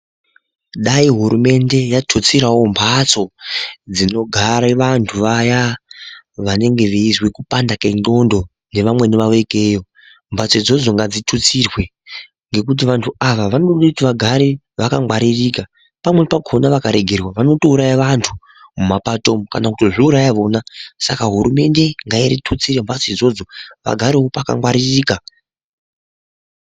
Dai hurumende yautsirawo mbatso dzinogare vantu vaya vanenge veizwe kupanda kwendxondo ngevamweni vavo ikeyo, mbatso idzodzo ngadzitutsirwe ngekuti vantu ava vanode kuti vagare vakangwaririka pamweni pakhona vakaregerwa vanotouraya vantu mumapato umu kana kutozviuraya vona Saka hurumende ngaitutsire mbatso idzodzo vagarewo pakangwaririka.